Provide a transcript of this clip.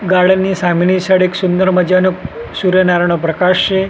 Garden ની સામેની side એક સુંદર મજાનુ સૂર્યનારાયણનો પ્રકાશ છે.